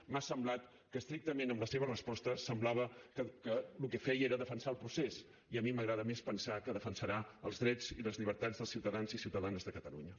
m’ha semblat que estrictament amb la seva resposta semblava que el que feia era defensar el procés i a mi m’agrada més pensar que defensarà els drets i les llibertats dels ciutadans i ciutadanes de catalunya